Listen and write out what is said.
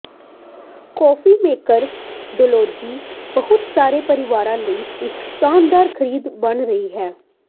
coffee maker DeLonghi ਬਹੁਤ ਸਾਰੇ ਪਰਿਵਾਰਾਂ ਲਈ ਇੱਕ ਸ਼ਾਨਦਾਰ ਖਰੀਦ ਬਣ ਗਿਆ ਹੈ